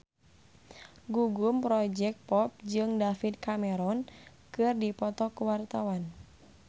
Gugum Project Pop jeung David Cameron keur dipoto ku wartawan